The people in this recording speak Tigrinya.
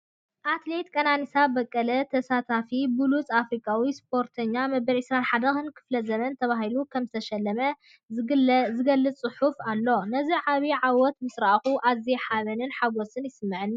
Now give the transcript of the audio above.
ኣትሌት ቀነኒሳ በቀለ ተሳቲፋ፤ "ብሉጽ ኣፍሪቃዊ ስፖርተኛ መበል 21 ክፍለ ዘመን" ተባሂሉ ከምዝተሸለመ ዝገልጽ ጽሑፍ ኣሎ። ነዚ ዓቢ ዓወት ምስ ረኣኹ ኣዝየ ሓበንን ሕጉስን ይስምዓኒ!